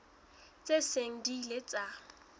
tse seng di ile tsa